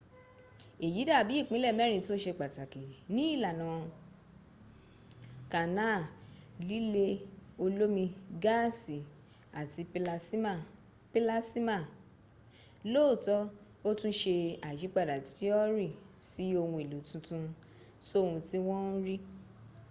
èyí dàbí ìpínlẹ̀ mẹ́rin tó se pàtàkì ní ìlànà kanáà: líle olómi gáàsì àti pílásíma lóòótọ́ ó tún se àyípadà tíọ́rì sí ohun èlò tuntun sóhun tí wọ́n ń rí